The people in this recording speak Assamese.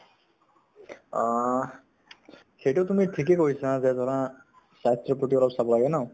আ । সেইটো তুমি ঠিকেই কৈছা যে ধৰা স্বাস্থ্য়ৰ প্ৰতি অলপ চাব লাগে ন ?